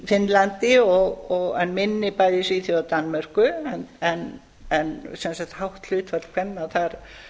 finnlandi en minni bæði í svíþjóð og danmörku en sem sagt hátt hlutfall kvenna þar